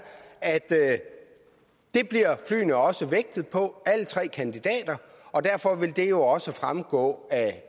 at det bliver flyene også vægtet på og derfor vil det jo også fremgå af